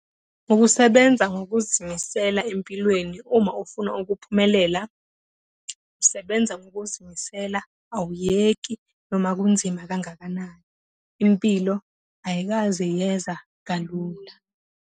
Ukusebenza ngokuzimisela empilweni uma ufuna ukuphumelela, usebenza ngokuzimisela, awuyeki noma kunzima kangakanani. Impilo ayikaze yeza kalula.